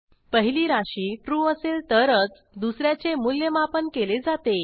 पहिली राशी ट्रू असेल तरच दुस याचे मूल्यमापन केले जाते